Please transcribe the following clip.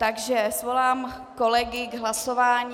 Takže svolám kolegy k hlasování.